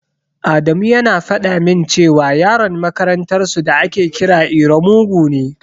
Adamu yana faɗa min cewa Yaron makarantar su da ake kira iro mugu ne.